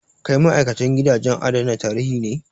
Kai ma'aikacin gidajen adana tarihi ne?